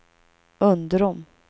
Undrom